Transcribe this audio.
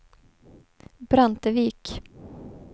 Brantevik